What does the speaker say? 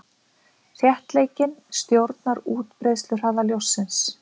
Þéttleikinn stjórnar útbreiðsluhraða ljóssins.